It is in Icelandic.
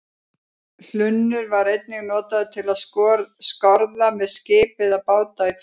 Hlunnur var einnig notaður til að skorða með skip eða bát í fjöru.